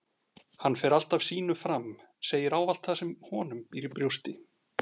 Hann fer alltaf sínu fram, segir ávallt það sem honum býr í brjósti